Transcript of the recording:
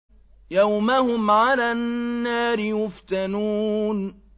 يَوْمَ هُمْ عَلَى النَّارِ يُفْتَنُونَ